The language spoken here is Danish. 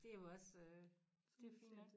Det jo også øh det fint nok